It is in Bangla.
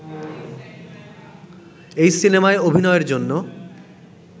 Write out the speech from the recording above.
এই সিনেমায় অভিনয়ের জন্য